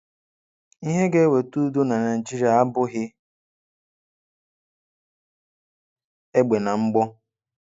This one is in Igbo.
Ihe ga eweta udo na Naịjịrịa abụghị egbe na mgbọ.